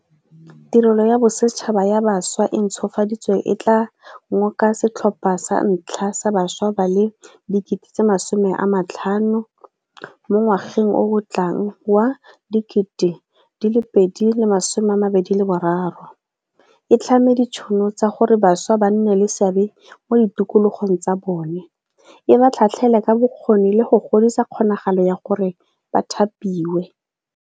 Tirelo ya Bosetšhaba ya Bašwa e e ntšhwafaditsweng e tla ngoka setlhopha sa ntlha sa bašwa ba le 50 000 mo ngwageng o o tlang wa 2023, e tlhame ditšhono tsa gore bašwa ba nne le seabe mo ditokologong tsa bone, e ba tlhatlhelele ka bokgoni le go godisa kgonagalo ya gore ba thapiwe.